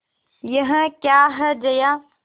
यह क्या है जया